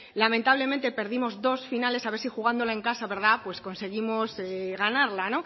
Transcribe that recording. lamentablemente perdimos dos finales a ver si jugándola en casa conseguimos ganarla